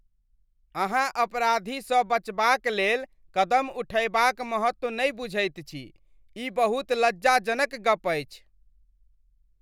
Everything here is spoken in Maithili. अहाँ अपराधीसँ बचबाक लेल कदम उठयबाक महत्व नहि बुझैत छी, ई बहुत लज्जाजनक गप अछि।